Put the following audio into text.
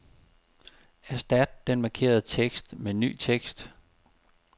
Erstat den markerede tekst med ny tekst.